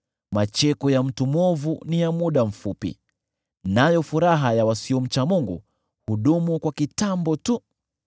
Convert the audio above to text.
macheko ya mtu mwovu ni ya muda mfupi, nayo furaha ya wasiomcha Mungu hudumu kwa kitambo tu.